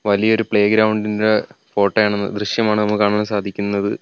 വലിയ ഒരു playground ഇന്റെ ഫോട്ടോ ആണ് ദൃശ്യമാണ് നമുക്ക് കാണാൻ സാധിക്കുന്നത്.